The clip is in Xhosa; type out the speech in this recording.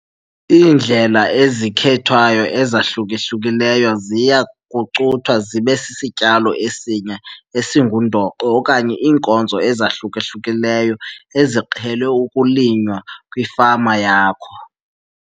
Iindlela ezikhethwayo ezahluka-hlukileyo ziya kucuthwa zibe sisityalo esinye esingundoqo okanye iinkozo ezahluka-hlukileyo eziqhele ukulinywa kwifama yakho.